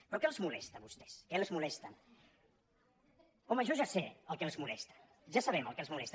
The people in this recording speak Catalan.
però què els molesta a vostès què els molesta home jo ja sé el que els molesta ja sabem el que els molesta